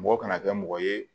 Mɔgɔ kana kɛ mɔgɔ ye